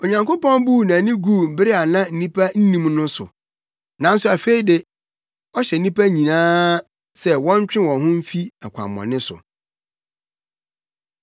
Onyankopɔn buu nʼani guu bere a na nnipa nnim no no so, nanso afei de, ɔhyɛ nnipa nyinaa sɛ wɔntwe wɔn ho mfi akwammɔne so.